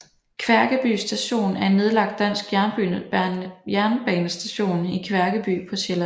Kværkeby Station er en nedlagt dansk jernbanestation i Kværkeby på Sjælland